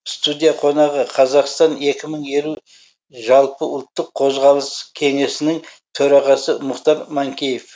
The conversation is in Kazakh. студия қонағы қазақстан екі мың елу жалпыұлттық қозғалысы кеңесінің төрағасы мұхтар манкеев